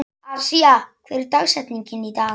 Asía, hver er dagsetningin í dag?